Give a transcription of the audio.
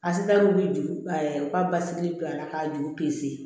A si ta wuli u ka basigi bi a la ka juru